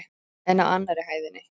En á annarri hæðinni?